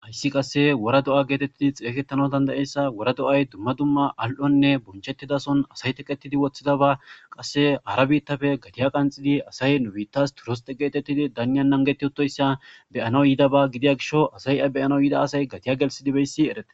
hayssi qassi wora do7a geetheththi xeegeththanawu dandda7essa wora do7ay dumma dumma al7onna teqeththida sohon asay teqeththidi woththidabaa qassi hara biiththape gathiya qanxxidi asay nu biiththaas turisthe geetheththidi danniyan nanggethya do7issa be7anawu yiidaba gidiya gishow asay a be7ana yiida asay gathiya gellssidi beyssi ereththidaba.